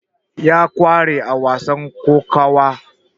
ya kware a wasan kokawa